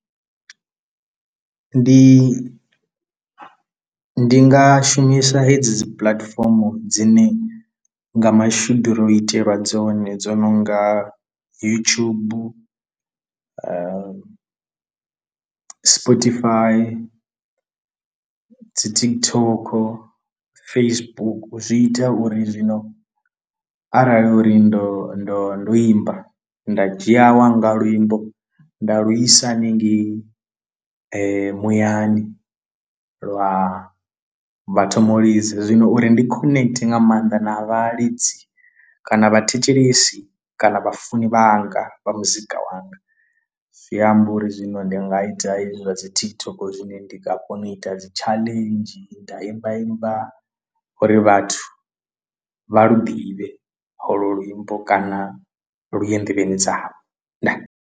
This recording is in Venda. Ndi ndi nga shumisa hedzi dzi puḽatifomo dzine nga mashudu ro itelwa dzone dzo no nga youtube sportyfi dzi TikTok Facebook, zwi ita uri zwino arali uri ndo ndo ndo imba nda dzhia lwa nga luimbo nda lugisa hanengei muyani lwa vha thoma u lidza, zwino uri ndi connect nga maanḓa na vhalidzi kana vhathetshelesi kana vha funi vhanga vha muzika wanga zwi amba uri zwino ndi nga i hezwi dzi TikTok zwine ndi a kona u ita dzi challenges nda imba imba uri vhathu vha lu ḓivhe holo luimbo kana lu ye nḓevheni dzavho ndaa!.